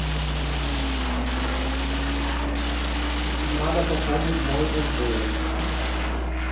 надо пополнить мой мтс